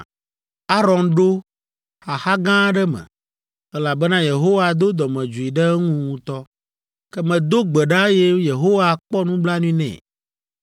Aron ɖo xaxa gã aɖe me, elabena Yehowa do dɔmedzoe ɖe eŋu ŋutɔ. Ke medo gbe ɖa, eye Yehowa kpɔ nublanui nɛ.